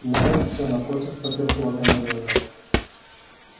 найд сел напротив потёр кулаками глаза